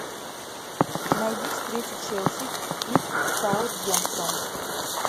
найди встречу челси и саутгемптон